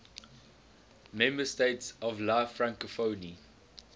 member states of la francophonie